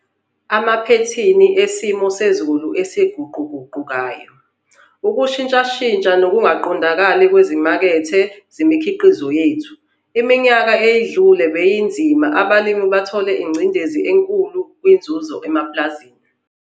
Amaphethini esimo sezulu esiguquguqukayo, Ukushintshashintsha nokungaqondakali kwezimakethe zemikhiqizo yethu - iminyaka edlule beyinzima njengoba abalimi bethole incindezi enkulu kwinzuzo emapulazini.